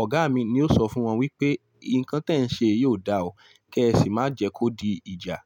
Ọ̀gá mi ni ó sọ fún wọn wípé, "Ikán tẹ̀ ń ṣe yóò dà ọ́, kí ẹ sì má jẹ kó di ìjà."